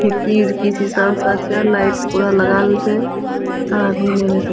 खिड़की उरकी शीशा उसा छै लाइट पूरा लगाइल छै आदमी मेरे से --